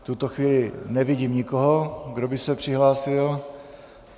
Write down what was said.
V tuto chvíli nevidím nikoho, kdo by se přihlásil.